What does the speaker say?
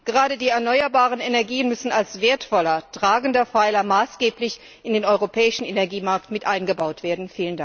Gerade die erneuerbaren Energien müssen als wertvoller, tragender Pfeiler maßgeblich in den europäischen Energiemarkt mit eingebaut werden.